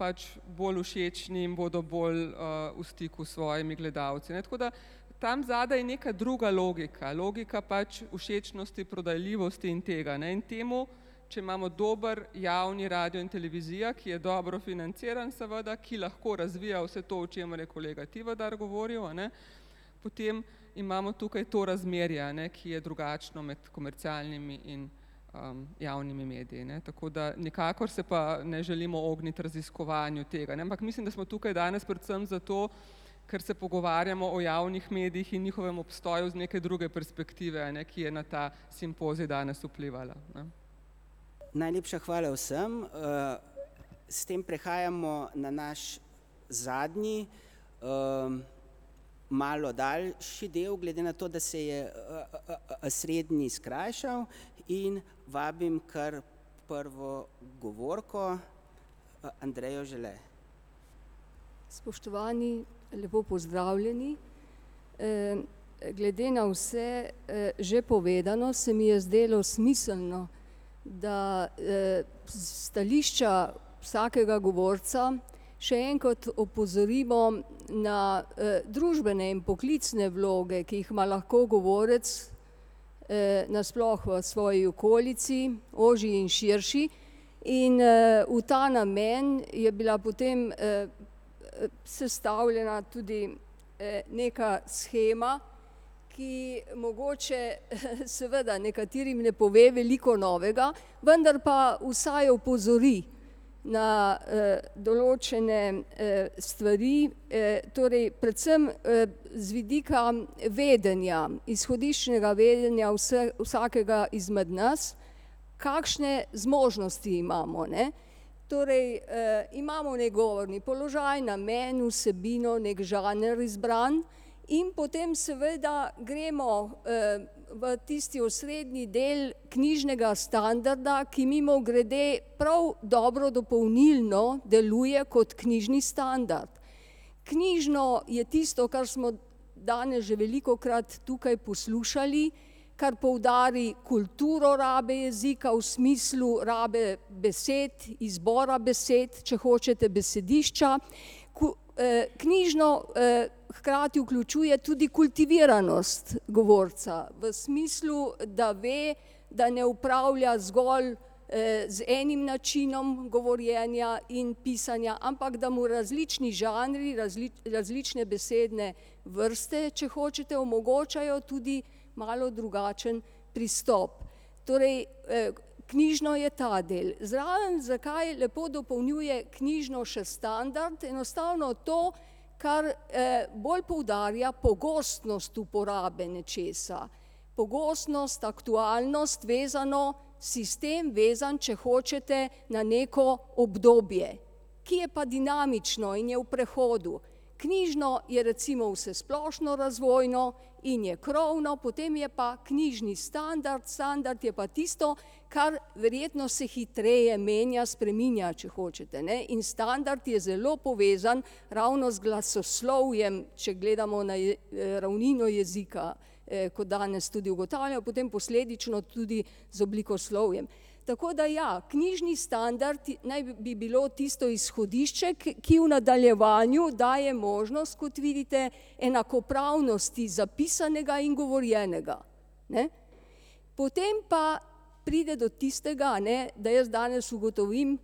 pač bolj všečni in bodo bolj v stiku s svojimi gledalci, ne, tako da. Tam zadaj je neka druga logika, logika pač všečnosti, prodajljivosti in tega, ne, in temu, če imamo dober javni radio in televizija, ki je dobro financiran seveda, ki lahko razvija vse to, o čemer je kolega Tivadar govoril, a ne, potem imamo tukaj to razmerje, a ne, ki je drugačno med komercialnimi in javnimi mediji, ne, tako da nikakor se pa ne želimo ogniti raziskovanju tega, ne, ampak mislim, da smo tukaj danes predvsem zato, ker se pogovarjamo o javnih medijih in njihovem obstoju z neke druge perspektive, a ne, ki je na ta simpozij danes vplivala, ne. Najlepša hvala vsem S tem prehajamo na naš zadnji, malo daljši del, glede na to, da se je srednji skrajšal, in vabim kar prvo govorko, [ime in priimek] . Spoštovani, lepo pozdravljeni. Glede na vse že povedano, se mi je zdelo smiselno, da s stališča vsakega govorca še enkrat opozorimo na družbene in poklicne vloge, ki jih ima lahko govorec na sploh v svoji okolici, ožji in širši. In v ta namen je bila potem sestavljena tudi neka shema, ki mogoče seveda nekaterim ne pove veliko novega, vendar pa vsaj opozori na določene stvari, torej predvsem z vidika vedenja, izhodiščnega vedenja vsakega izmed nas, kakšne zmožnosti imamo, ne. Torej imamo neki govorni položaj, namen, vsebino, neki žanr izbran in potem seveda gremo v tisti osrednji del knjižnega standarda, ki mimogrede prav dobro dopolnilno deluje kot knjižni standard. Knjižno je tisto, kar smo danes že velikokrat tukaj poslušali, kar poudari kulturo rabe jezika v smislu rabe besed, izbora besed, če hočete besedišča, knjižno hkrati vključuje tudi kultiviranost govorca v smislu, da ve, da ne opravlja zgolj z enim načinom govorjenja in pisanja, ampak da mu različni žanri, različne besedne vrste, če hočete, omogočajo tudi malo drugačen pristop. Torej knjižno je ta del. Zraven zakaj lepo dopolnjuje knjižno še standard, enostavno to, kar bolj poudarja pogostnost uporabe nečesa. Pogostnost, aktualnost, vezano, sistem vezan, če hočete, na neko obdobje, ki je pa dinamično in je v prehodu. Knjižno je recimo vsesplošno razvojno in je krovno, potem je pa knjižni standard, standard je pa tisto, kar verjetno se hitreje menja, spreminja, če hočete, ne. In standard je zelo povezan ravno z glasoslovjem, če gledamo na ravnino jezika, kot danes tudi ugotavljamo, potem posledično tudi z oblikoslovjem. Tako da ja, knjižni standard naj bi bilo tisto izhodišče, ki v nadaljevanju daje možnost, kot vidite, enakopravnosti zapisanega in govorjenega, ne. Potem pa pride do tistega, a ne, da jaz danes ugotovim,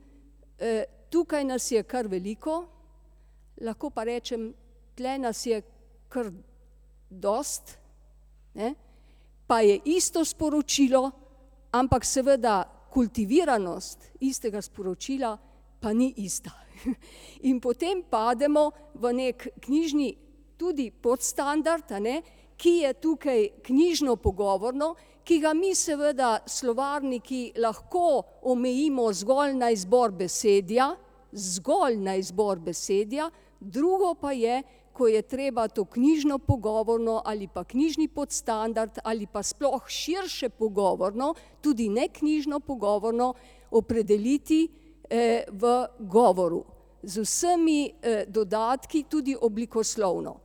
tukaj nas je kar veliko, lahko pa rečem, tule nas je kar dosti, ne. Pa je isto sporočilo, ampak seveda kultiviranost istega sporočila pa ni ista. In potem pademo v neki knjižni tudi podstandard, a ne, ki je tukaj knjižno pogovorno, ki ga mi seveda, slovarniki, lahko omejimo zgolj na izbor besedja, zgolj na izbor besedja, drugo pa je, ko je treba to knjižno pogovorno ali pa knjižni podstandard ali pa sploh širše pogovorno, tudi neknjižno pogovorno opredeliti v govoru. Z vsemi dodatki, tudi oblikoslovno.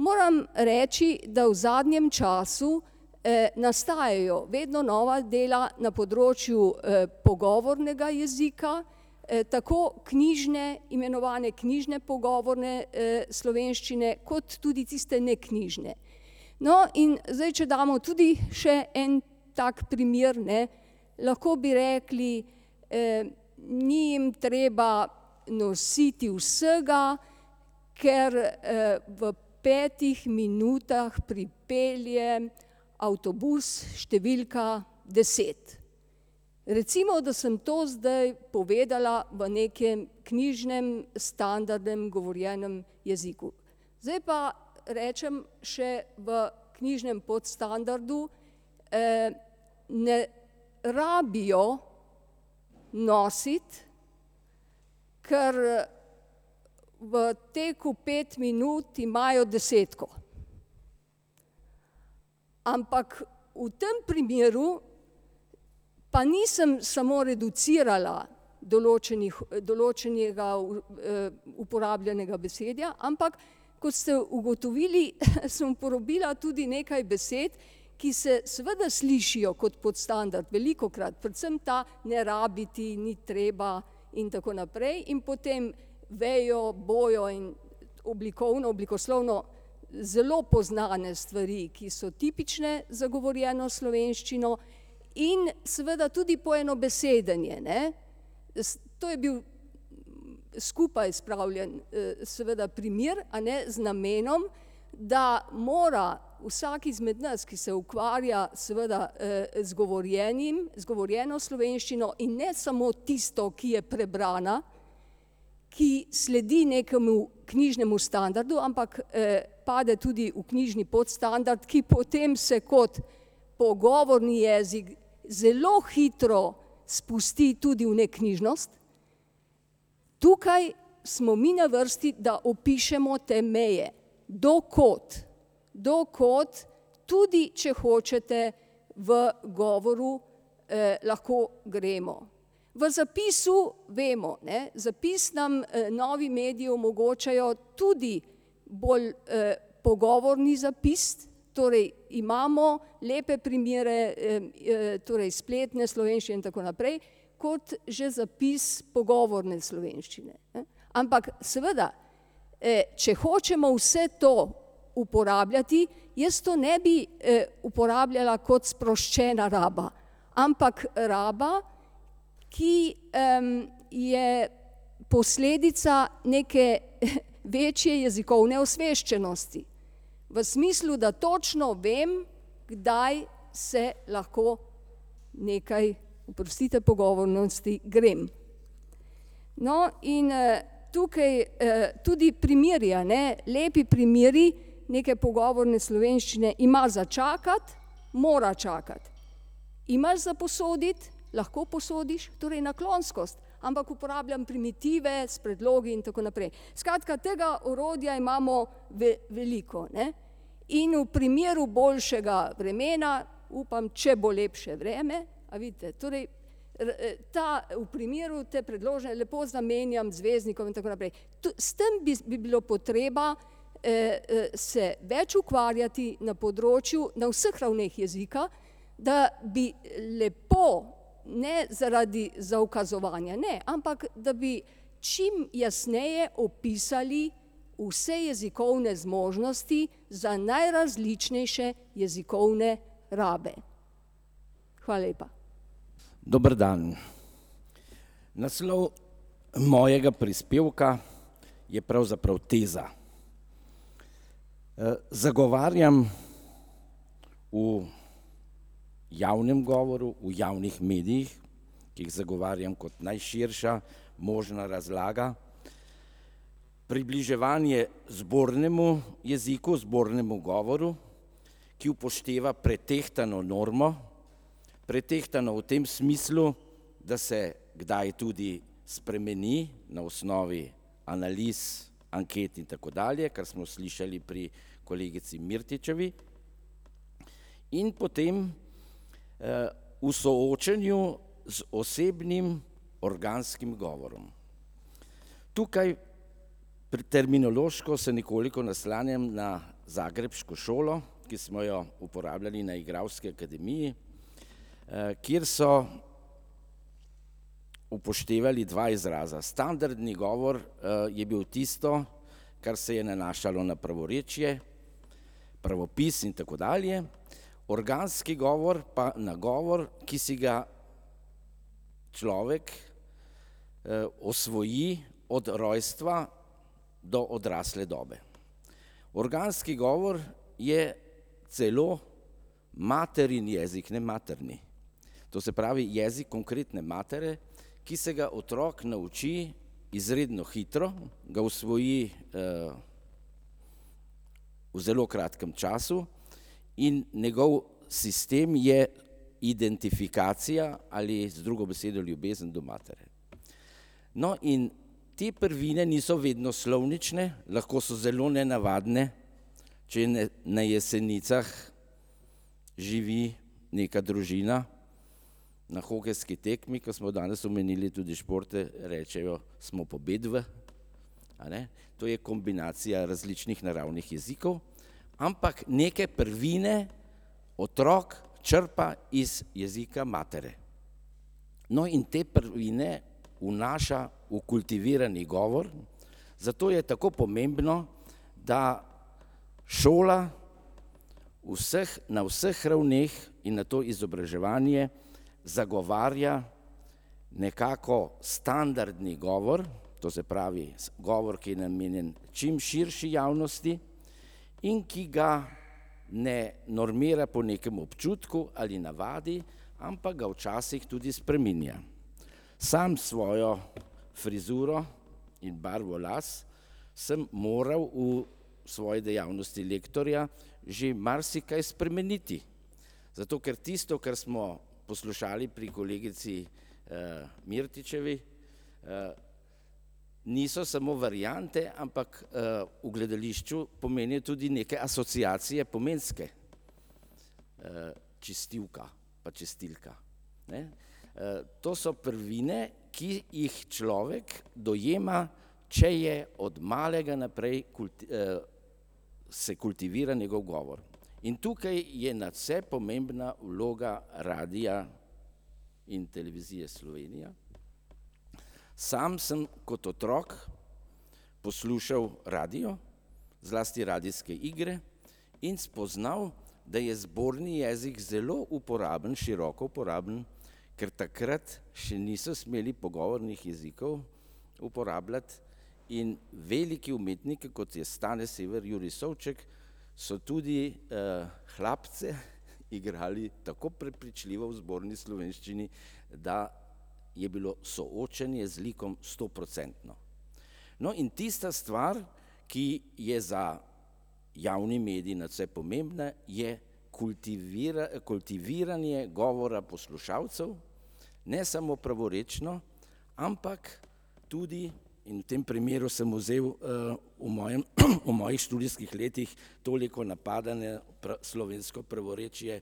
Moram reči, da v zadnjem času nastajajo vedno nova dela na področju pogovornega jezika, tako knjižne, imenovane knjižne pogovorne slovenščine kot tudi tiste neknjižne. No, in zdaj, če damo tudi še en tak primer, ne, lahko bi rekli: "Ni jim treba nositi vsega, ker v petih minutah pripelje avtobus številka deset." Recimo, da sem to zdaj povedala v nekem knjižnem standardnem govorjenem jeziku. Zdaj pa rečem še v knjižnem podstandardu: "Ne rabijo nositi, ker v teku pet minut imajo desetko." Ampak, v tem primeru pa nisem samo reducirala določenih, določenega uporabljenega besedja, ampak, kot ste ugotovili, sem uporabila tudi nekaj besed, ki se seveda slišijo kot podstandard, velikokrat, predvsem ta, ne rabiti, ni treba, in tako naprej, in potem vejo, bojo in oblikovno, oblikoslovno zelo poznane stvari, ki so tipične za govorjeno slovenščino in seveda tudi poenobesedenje, ne. to je bil skupaj spravljen seveda primer, a ne, z namenom, da mora, vsak izmed nas, ki se ukvarja seveda z govorjenim, z govorjeno slovenščino in ne samo tisto, ki je prebrana, ki sledi nekemu knjižnemu standardu, ampak pade tudi v knjižni podstandard, ki potem se kot pogovorni jezik zelo hitro spusti tudi v neknjižnost. Tukaj smo mi na vrsti, da opišemo te meje. Do kod, do kod tudi, če hočete, v govoru lahko gremo. V zapisu vemo, ne, zapis nam novi mediji omogočajo tudi bolj pogovorni zapis, torej imamo lepe primere torej spletne slovenščine in tako naprej kot že zapis pogovorne slovenščine, ne. Ampak seveda, če hočemo vse to uporabljati, jaz to ne bi uporabljala kot sproščena raba, ampak raba, ki je posledica neke večje jezikovne osveščenosti. V smislu, da točno vem, kdaj se lahko nekaj, oprostite pogovornosti, grem. No, in tukaj tudi primeri, a ne, lepi primeri neke pogovorne slovenščine ima za čakati, mora čakati, ima za posoditi, lahko posodiš, torej naklonskost. Ampak uporabljam primitive s predlogi in tako naprej. Skratka tega orodja imamo veliko, ne. In v primeru boljšega vremena upam, če bo lepše vreme, a vidite, torej, ta v primeru, te predložne, lepo zamenjam z veznikom in tako naprej. Tu, s tem bi bilo potreba se več ukvarjati na področju, na vseh ravneh jezika, da bi lepo, ne zaradi zaukazovanja, ne, ampak, da bi čim jasneje opisali vse jezikovne zmožnosti za najrazličnejše jezikovne rabe. Hvala lepa. Dober dan. Naslov mojega prispevka je pravzaprav teza. Zagovarjam v javnem govoru, v javnih medijih, ki jih zagovarjam kot najširša možna razlaga, približevanje zbornemu jeziku, zbornemu govoru, ki upošteva pretehtano normo. Pretehtano v tem smislu, da se kdaj tudi spremeni na osnovi analiz, anket in tako dalje, kar smo slišali pri kolegici Mirtičevi. In potem v soočenju z osebnim organskim govorom. Tukaj, pri terminološko se nekoliko naslanjam na zagrebško šolo, ki smo jo uporabljali na igralski akademiji, kjer so upoštevali dva izraza. Standardni govor je bil tisto, kar se je nanašalo na pravorečje, pravopis in tako dalje, organski govor pa na govor, ki si ga človek osvoji od rojstva do odrasle dobe. Organski govor je celo materin jezik, ne materni. To se pravi, jezik konkretne materi, ki se ga otrok nauči izredno hitro, ga osvoji v zelo kratkem času in njegov sistem je identifikacija ali z drugo besedo ljubezen do matere. No, in te prvine niso vedno slovnične, lahko so zelo nenavadne. Če na Jesenicah živi neka družina, na hokejski tekmi, ko smo danes omenili tudi športe, rečejo, smo pobedili, a ne. To je kombinacija različnih naravnih jezikov, ampak neke prvine otrok črpa iz jezika matere. No, in te prvine vnaša v kultivirani govor, zato je tako pomembno, da šola vseh, na vseh ravneh in nato izobraževanje zagovarja nekako standardni govor, to se pravi, govor, ki je namenjen čim širši javnosti in ki ga ne normira po nekem občutku ali navadi, ampak ga včasih tudi spreminja. Sam svojo frizuro in barvo las sem moral v svoji dejavnosti lektorja že marsikaj spremeniti. Zato ker tisto, kar smo poslušali pri kolegici Mirtičevi, niso samo variante, ampak v gledališču pomenijo tudi neke asociacije pomenske. Čistilka pa čistilka, ne. To so prvine, ki jih človek dojema, če je od malega naprej se kultivira njegov govor. In tukaj je nadvse pomembna vloga Radia in Televizije Slovenija. Sam sem kot otrok poslušal radio, zlasti radijske igre, in spoznal, da je zborni jezik zelo uporaben, široko uporaben, ker takrat še niso smeli pogovornih jezikov uporabljati, in veliki umetniki, kot je Stane Sver, Jurij Souček, so tudi Hlapce igrali tako prepričljivo v zborni slovenščini, da je bilo soočenje z likom stoprocentno. No, in tista stvar, ki je za javni medij nadvse pomembna, je kultiviranje govora poslušalcev, ne samo pravorečno, ampak tudi, in v tem primeru sem vzel v mojem, v mojih študijskih letih toliko napadanja, slovensko pravorečje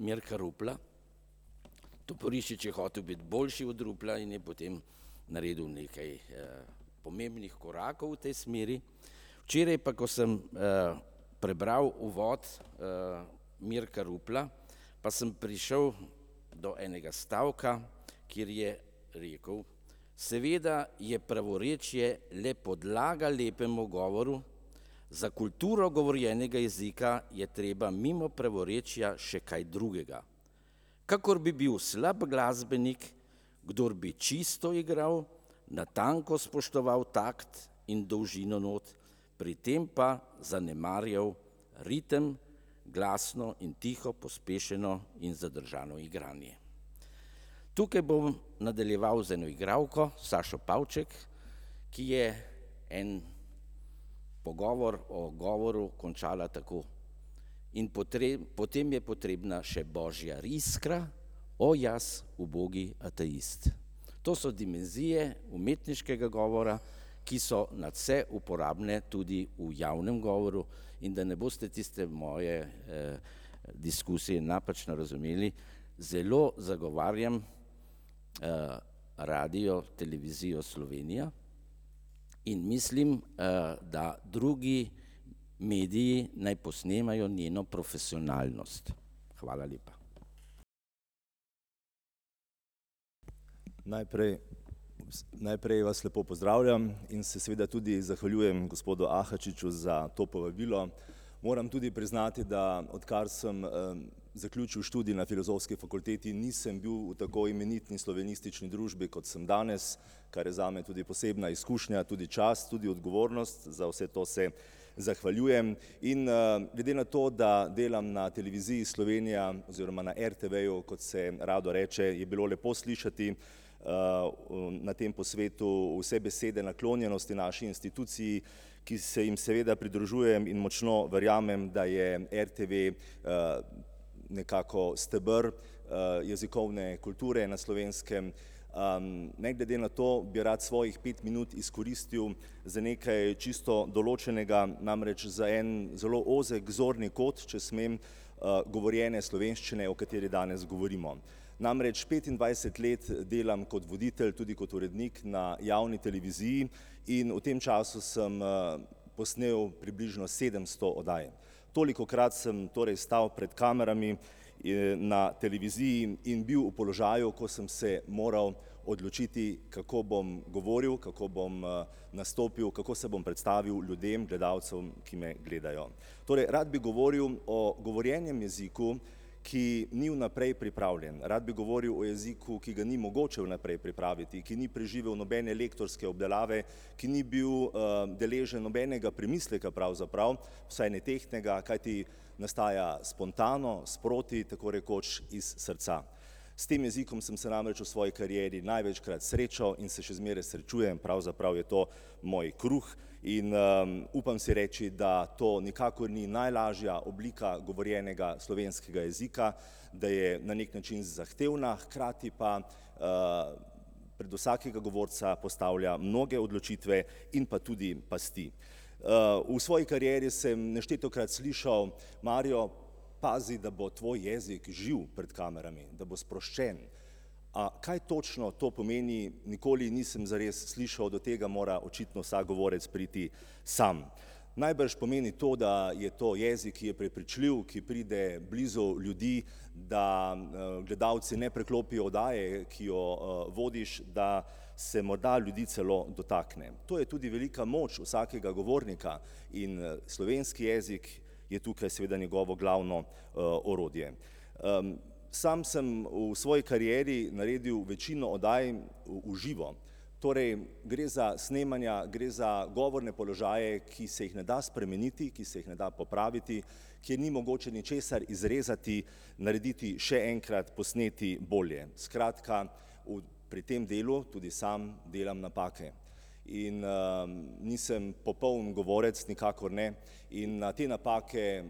Mirka Rupla. Toporišič je hotel biti boljši od Rupla in je potem naredil nekaj pomembnih korakov v tej smeri. Včeraj pa, ko sem prebral uvod Mirka Rupla, pa sem prišel do enega stavka, kjer je rekel, seveda je pravorečje le podlaga lepemu govoru, za kulturo govorjenega jezika je treba mimo pravorečja še kaj drugega, kakor bi bil slab glasbenik, kdor bi čisto igral, natanko spoštoval takt in dolžino not, pri tem pa zanemarjal ritem, glasno in tiho pospešeno in zadržano igranje. Tukaj bom nadaljeval z eno igralko, Sašo Pavček, ki je en pogovor o govoril končala tako: "In potem je potrebna še božja iskra, o jaz, ubogi ateist." To so dimenzije umetniškega govora, ki so nadvse uporabne, tudi v javnem govoru, in da ne boste tiste moje diskusije napačno razumeli, zelo zagovarjam Radiotelevizijo Slovenija, in mislim, da drugi mediji naj posnemajo njeno profesionalnost. Hvala lepa. Najprej, najprej vas lepo pozdravljam in se seveda tudi zahvaljujem gospodu Ahačiču za to povabilo. Moram tudi priznati, da odkar sem zaključil študij na Filozofski fakulteti, nisem bil v tako imenitni slovenistični družbi, kot sem danes, kar je zame tudi posebna izkušnja, tudi čast, tudi odgovornost, za vse to se zahvaljujem. In glede na to, da delam na Televiziji Slovenija oziroma na RTV-ju, kot se rado reče, je bilo lepo slišati na tem posvetu vse besede naklonjenosti naši instituciji, ki se jim seveda pridružujem in močno verjamem, da je RTV nekako steber jezikovne kulture na Slovenskem. Ne glede na to bi rad svojih pet minut izkoristili za nekaj čisto določenega, namreč za en zelo ozek zorni kot, če smem, govorjene slovenščine, o kateri danes govorimo. Namreč petindvajset let delam kot voditelj, tudi kot urednik na javni televiziji, in v tem času sem posnel približno sedemsto oddaj. Tolikokrat sem torej stal pred kamerami na televiziji in in bil v položaju, ko sem se moral odločiti, kako bom govoril, kako bom nastopil, kako se bom predstavil ljudem, gledalcem, ki me gledajo. Torej rad bi govoril o govorjenem jeziku, ki ni vnaprej pripravljen, rad bi govoril o jeziku, ki ga ni mogoče vnaprej pripraviti, ki ni preživel nobene lektorske obdelave, ki ni bil deležen nobenega premisleka pravzaprav, vsaj ne tehtnega, kajti nastaja spontano, sproti, tako rekoč iz srca. S tem jezikom sem se namreč v svoji karieri največkrat srečal in se še zmeraj srečujem, pravzaprav je to moj kruh in upam si reči, da to nikakor ni najlažja oblika govorjenega slovenskega jezika, da je na neki način zahtevna, hkrati pa pred vsakega govorca postavlja mnoge odločitve in pa tudi pasti. V svoji karieri sem neštetokrat slišal, Mario, pazi, da bo tvoj jezik živ pred kamerami, da bo sproščen. A kaj točno to pomeni, nikoli nisem zares slišal, do tega mora očitno vsak govorec priti sam. Najbrž pomeni to, da je to jezik, ki je prepričljiv, ki pride blizu ljudi, da gledalci ne preklopijo oddaje, ki jo vodiš, da se morda ljudi celo dotakne. To je tudi velika moč vsakega govornika in slovenski jezik je tukaj seveda njegovo glavno orodje. Sam sem v svoji karieri naredil večino oddaj v živo. Torej, gre za snemanja, gre za govorne položaje, ki se jih ne da spremeniti, ki se jih ne da popraviti, ki ni mogoče ničesar izrezati, narediti še enkrat, posneti bolje, skratka u pri tem delu tudi sam delam napake. In nisem popoln govorec, nikakor ne. In na te napake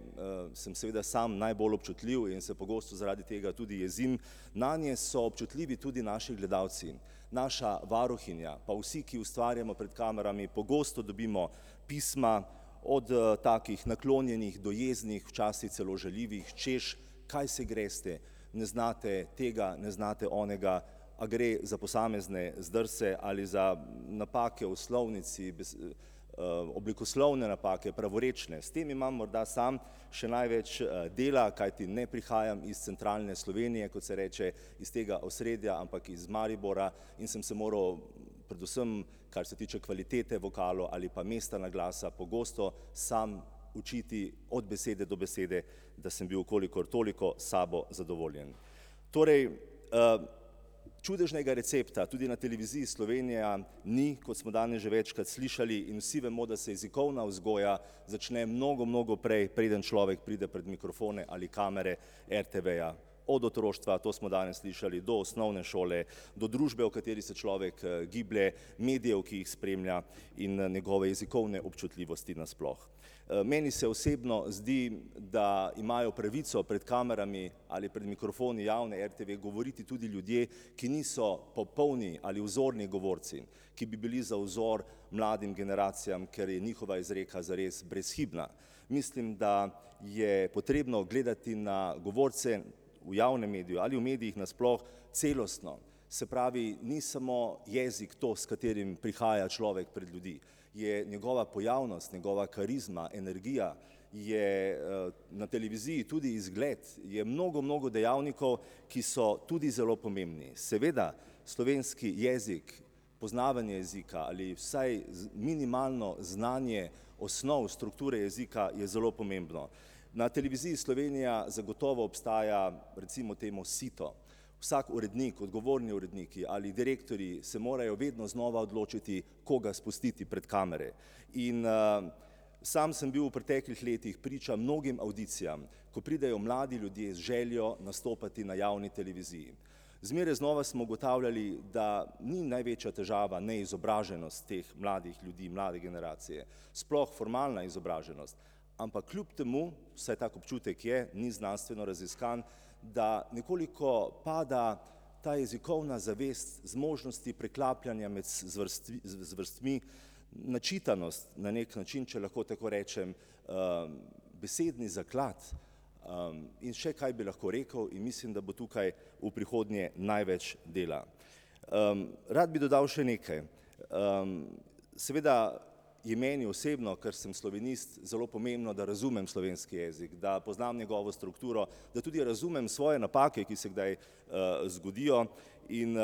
sem seveda sam najbolj občutljiv in se pogosto zaradi tega tudi jezim. Nanje so občutljivi tudi naši gledalci, naša varuhinja, pa vsi, ki ustvarjamo pred kamerami, pogosto dobimo pisma, od takih naklonjenih, do jeznih, včasih celo žaljivih, hočeš, kaj se greste, ne znate tega, ne znate onega, a gre za posamezne zdrse ali za napake v slovnici, oblikoslovne napake, pravorečne, s tem imam morda sam še največ dela, kajti ne prihajam iz centralne Slovenije, kot se reče, iz tega osredja, ampak iz Maribora, in sem se moral, predvsem kar se tiče kvalitete vokalov ali pa mesta naglasa, pogosto sam učiti od besede do besede, da sem bil v kolikor toliko s sabo zadovoljen. Torej čudežnega recepta tudi na Televiziji Slovenija ni, kot smo danes že večkrat slišali, in vsi vemo, da se jezikovna vzgoja začne mnogo, mnogo prej, preden človek pride pred mikrofone in kamere RTV-ja. Od otroštva, to smo danes slišali, do osnovne šole, do družbe, v kateri se človek giblje, medijev, ki jih spremlja, in njegove jezikovne občutljivosti na sploh. Meni se osebno zdi, da imajo pravico pred kamerami ali pred mikrofoni javne RTV govoriti tudi ljudje, ki niso popolni ali vzorni govorci, ki bi bili za vzor mladim generacijam, ker je njihova izreka zares brezhibna. Mislim, da je potrebno gledati na govorce v javnem mediju ali v medijih na sploh celostno. Se pravi, ni samo jezik to, s katerim prihaja človek pred ljudi. Je njegova pojavnost, njegova karizma, energija, je na televiziji tudi izgled, je mnogo, mnogo dejavnikov, ki so tudi zelo pomembni. Seveda, slovenski jezik, poznavanje jezika ali vsaj minimalno znanje osnov, strukture jezika je zelo pomembno. Na Televiziji Slovenija zagotovo obstaja, recimo temu sito, vsak urednik, odgovorni uredniki ali direktorji se morajo vedno znova odločiti, koga spustiti pred kamere. In sam sem bil v preteklih letih priča mnogim avdicijam, ko pridejo mladi ljudje z željo nastopati na javni televiziji. Zmeraj znova smo ugotavljali, da ni največja težava neizobraženost teh mladih ljudi, mlade generacije, sploh formalna izobraženost. Ampak kljub temu, vsaj tak občutek je, ni znanstveno raziskan, da nekoliko pada ta jezikovna zavest zmožnosti preklapljanja med zvrstvi, zvrstmi, načitanost, na neki način, če lahko tako rečem, besedni zaklad, in še kaj bi lahko rekel, in mislim, da bo tukaj v prihodnje največ dela. Rad bi dodal še nekaj. Seveda je meni osebno, kar sem slovenist, zelo pomembno, da razumem slovenski jezik, da razumem njegovo strukturo, da tudi razumem svoje napake, ki se kdaj zgodijo, in